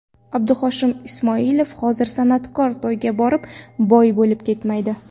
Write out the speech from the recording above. Abduhoshim Ismoilov: Hozir san’atkor to‘yga borib, boy bo‘lib ketmaydi .